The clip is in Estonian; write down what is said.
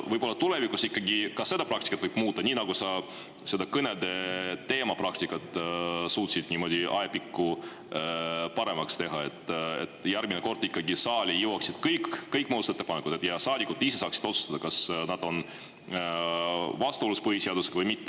Võib-olla tulevikus võiks ikkagi seda praktikat muuta, nii nagu sa kõnedele praktikat suutsid ajapikku paremaks teha, et järgmine kord jõuaksid ikkagi saali kõik muudatusettepanekud ja saadikud ise saaksid otsustada, kas need on vastuolus põhiseadusega või mitte.